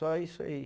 Só isso aí.